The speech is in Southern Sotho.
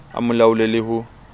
a mo laole le ho